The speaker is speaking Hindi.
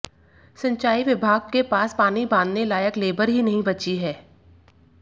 सिंचाई विभाग के पास पानी बांधने लायक लेबर ही नहीं बची है